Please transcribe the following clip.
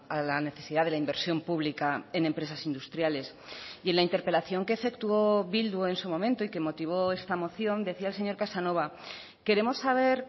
a la necesidad de la inversión pública en empresas industriales y en la interpelación que efectuó bildu en su momento y que motivó esta moción decía el señor casanova queremos saber